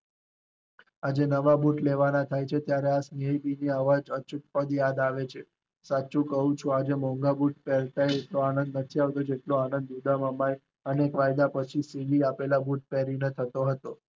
હજુ નવા નુત લેવાના થાય છે ત્યારે સ્નેહવિધિ અચૂક યાદ આવે છે, સાચું કહું છું, આજે મોંઘા પેહર્યા તોય એટલો આનંદ નથી આવતો જેટલો આનંદ ઉડમાં એ સીવેલા બુટ નો આવતો હતુ.